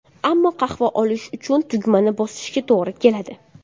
Ammo qahva olish uchun tugmani bosishga to‘g‘ri keladi.